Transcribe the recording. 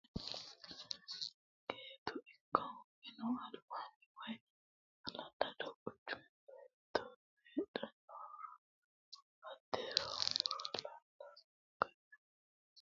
Gate ikko minu albaani woyi hala'lado qanchu baatto heedhuro hattera muro laalo loonse kaynse fushine horonsira itate woyi fushine dikkote shiqqisha jawaantete.